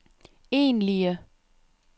egentlige